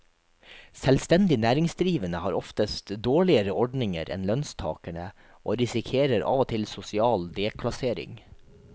Selvstendig næringsdrivende har oftest dårligere ordninger enn lønnstakerne og risikerer av og til sosial deklassering.